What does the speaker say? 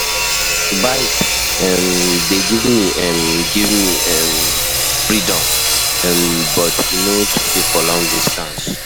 Bike um dey give me um give me um freedom, um but e no too safe for long distance.